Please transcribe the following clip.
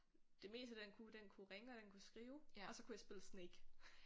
Det meste den kunne den kunne ringe og den kunne skrive og så kunne jeg spille Snake